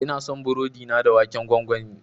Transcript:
Ina son burodi na da waken gwangwani.